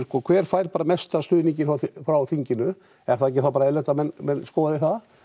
hver fær mesta stuðninginn frá þinginu er þá ekki bara eðlilegt að menn skoði það